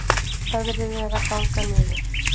Veðrið er að ganga niður